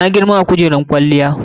Na girma a kujeran kwaliyya.